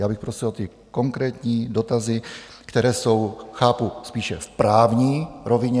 Já bych prosil o ty konkrétní dotazy, které jsou - chápu - spíše v právní rovině.